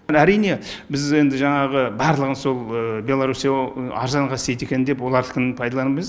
әрине біз енді жаңағы барлығы сол беларусия арзанға істейді екен деп олардікін пайдалануымыз